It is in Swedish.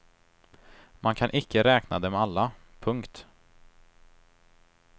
Man kan icke räkna dem alla. punkt